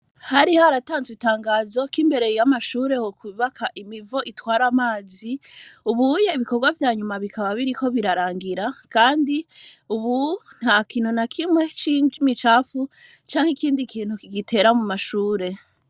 Hari haratanzwe itangazo ko imbere y'amashure hokwubakwa imivo itwara amazi,.Ubu ibikorwa vya nyuma bikaba biriko birarangira, kandi ubu, nta kintu na kimwe c'imicafu canke ikindi kintu kigitera mu mashure.